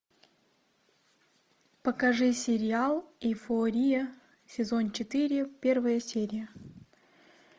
покажи сериал эйфория сезон четыре первая серия